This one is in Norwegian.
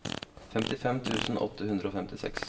femtifem tusen åtte hundre og femtiseks